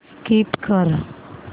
skip कर